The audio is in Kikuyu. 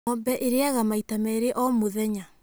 Ng'ombe ĩrĩaga maita merĩ o mũthenya.